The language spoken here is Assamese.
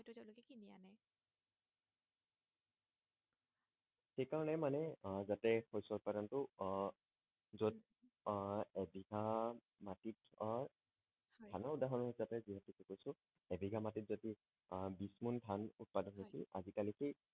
সেই কাৰণে মানে আহ যাতে শস্য উৎপাদনটো আহ যত আহ এবিঘা মাটিত আহ হয় ধানৰ উদাহণ হিচাপে যিহেতু কৈছো ইবিঘা মাটিত যদি আহ বিছ মোন ধান উৎপাদন হৈছিল হয় আজি কালি সেই